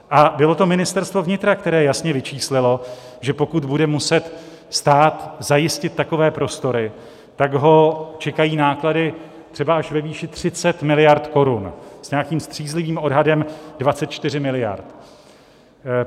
A bylo to Ministerstvo vnitra, které jasně vyčíslilo, že pokud bude muset stát zajistit takové prostory, tak ho čekají náklady třeba až ve výši 30 miliard korun, s nějakým střízlivým odhadem 24 miliard.